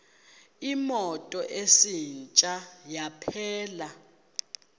imoto isitsha yaphela